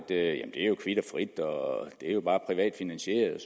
det er jo kvit og frit og det er bare privat finansieret